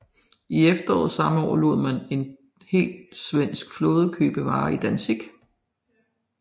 I efteråret samme år lod man en hel svensk flåde købe varer i Danzig